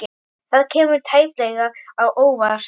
Það kemur tæplega á óvart.